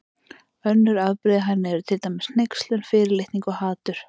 Önnur afbrigði af henni eru til dæmis hneykslun, fyrirlitning og hatur.